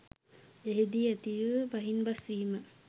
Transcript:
එහිදී ඇතිවූ බහින්බස්වීම